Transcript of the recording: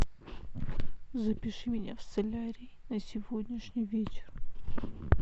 запиши меня в солярий на сегодняшний вечер